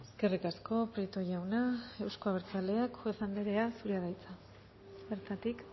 eskerrik asko prieto jauna euzko abertzaleak juez anderea zurea da hitza bertatik